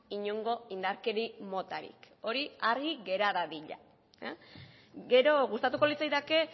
inongo indarkeri motarik hori argi gera dadila gero gustatuko litzaidake